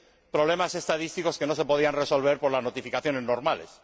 problemas estadísticos que no se pudieran resolver mediante las notificaciones normales.